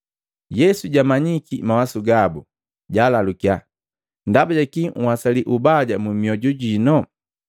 Yesu jagamanyiki mawasu gabu, jalalukiya, “Ndaba jakii nhwasali ubaja mu mioju jino?